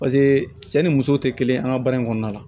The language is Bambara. Paseke cɛ ni muso tɛ kelen an ka baara in kɔnɔna la